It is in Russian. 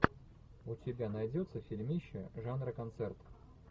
у тебя найдется фильмище жанра концерт